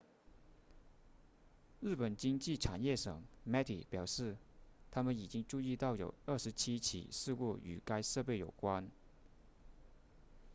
日本经济产业省 meti 表示他们已经注意到有27起事故与该设备有关